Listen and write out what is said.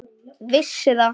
Vissi það.